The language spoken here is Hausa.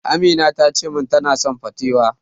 Amina tace min tana son patewo.